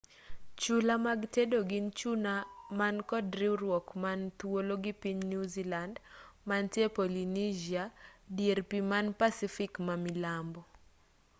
chula mag tedo gin chula man kod riwruok man thuolo gi piny new zealand mantie polynesia dier pii man pacific mamilambo